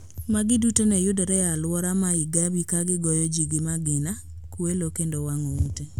Magi duto ne yudore e alwora ma Igabi ka gigoyo ji gi magina, kwelo kendo wang`o ute